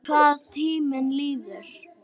Hvað tíminn líður!